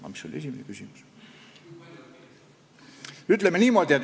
Aga mis oli esimene küsimus?